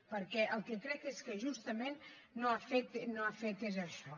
perquè el que crec és que justament no ha fet és això